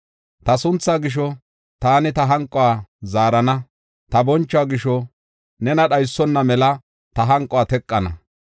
Ta sunthaa gisho, taani ta hanquwa zaarana; ta bonchuwa gisho nena dhaysona mela ta hanquwa teqana.